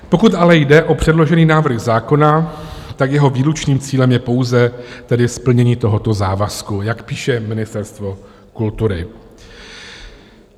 Pokud ale jde o předložený návrh zákona, tak jeho výlučným cílem je pouze tedy splnění tohoto závazku, jak píše Ministerstvo kultury.